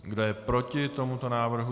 Kdo je proti tomuto návrhu?